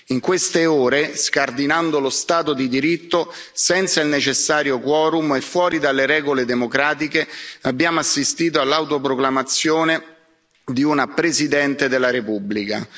In queste ore, scardinando lo Stato di diritto, senza il necessario quorum e fuori dalle regole democratiche, abbiamo assistito all'autoproclamazione di una Presidente della repubblica.